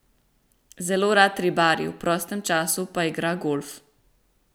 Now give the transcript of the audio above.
Zelo rad ribari, v prostem času pa igra golf.